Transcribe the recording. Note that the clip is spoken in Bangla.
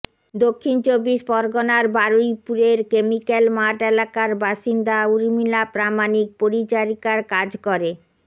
দক্ষিণ চব্বিশ পরগনার বারুইপুরের কেমিক্যাল মাঠ এলাকার বাসিন্দা ঊর্মিলা প্রামাণিক পরিচারিকার কাজ